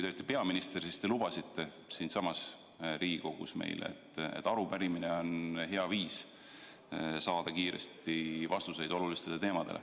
Peaministrina te lubasite siinsamas Riigikogus meile, et arupärimine on hea viis saada kiiresti vastused olulistele küsimustele.